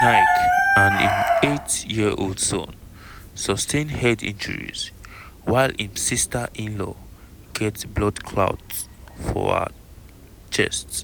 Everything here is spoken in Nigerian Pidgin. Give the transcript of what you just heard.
naik and im eight-year-old son sustain head injuries while im sister-in-law get blood clot for her chest.